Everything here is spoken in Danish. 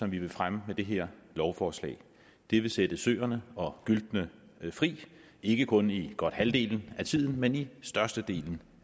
vi vil fremme med det her lovforslag det vil sætte søerne og gyltene fri ikke kun i godt halvdelen af tiden men i størstedelen